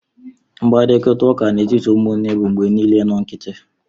Mkparịta ụka n'etiti ụmụnne bụ mgbe niile nnọọ nkịtị